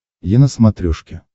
е на смотрешке